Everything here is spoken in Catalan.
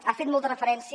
ha fet molta referència